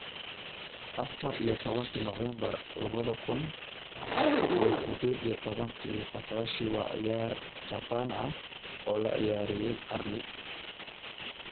Afar iyo tobanka Noofambar labada kun iyo sideed iyo tobankii Botaoshi, waa ciyaar Jabbaan ah oo la ciyaarayay qarni.